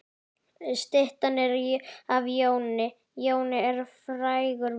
Styttan er af Jóni. Jón er frægur maður.